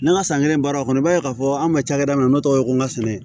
Ne ka san kelen baara kɔnɔ i b'a ye k'a fɔ an bɛ ba cakɛda min na ne tɔgɔ ye ko n ka sɛnɛ